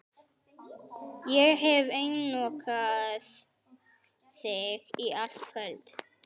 Ég hef einokað þig í allt kvöld.